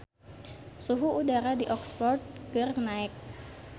Suhu udara di Oxford keur naek